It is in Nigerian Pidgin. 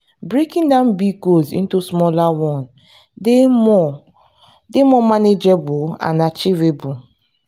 breaking down big goals into smaller one dey more dey more manageable and achievable.